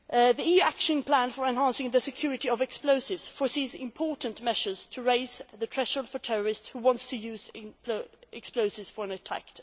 and explosives. The EU action plan for enhancing the security of explosives foresees important measures to raise the threshold for terrorists who want to use explosives